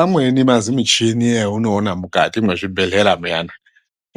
Amweni mazimichini eunoona mukati mwezvibhehlera muyana